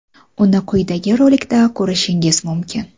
Uni quyidagi rolikda ko‘rishingiz mumkin.